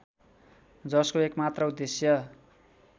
जसको एकमात्र उद्देश्य